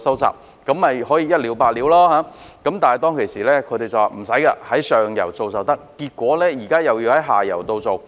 這樣便可以一了百了，但當時得到的答覆是無須這樣，只要在上游做便可以，但結果現時又要在下游再做。